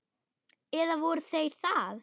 Eða voru þeir það?